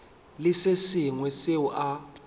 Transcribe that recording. le se sengwe seo a